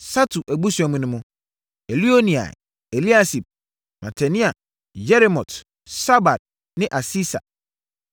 Satu abusua mu no: Elioenai, Eliasib, Matania, Yeremot, Sabad ne Asisa.